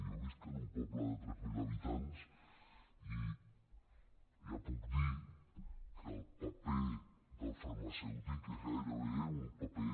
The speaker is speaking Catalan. jo visc en un poble de tres mil habitants i ja puc dir que el paper del farmacèutic és gairebé un paper